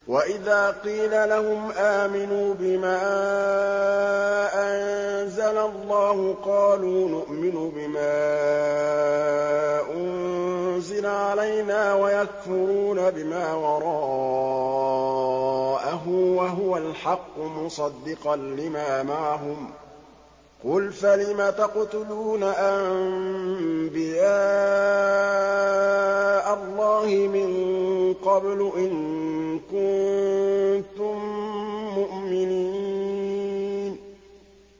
وَإِذَا قِيلَ لَهُمْ آمِنُوا بِمَا أَنزَلَ اللَّهُ قَالُوا نُؤْمِنُ بِمَا أُنزِلَ عَلَيْنَا وَيَكْفُرُونَ بِمَا وَرَاءَهُ وَهُوَ الْحَقُّ مُصَدِّقًا لِّمَا مَعَهُمْ ۗ قُلْ فَلِمَ تَقْتُلُونَ أَنبِيَاءَ اللَّهِ مِن قَبْلُ إِن كُنتُم مُّؤْمِنِينَ